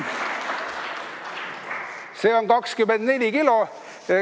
See on 24 kilo.